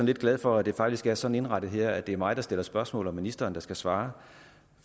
lidt glad for at det faktisk er sådan indrettet her at det er mig der stiller spørgsmål og ministeren der skal svare